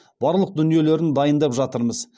барлық дүниелерін дайындап жатырмыз